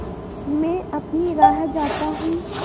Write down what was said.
मैं अपनी राह जाता हूँ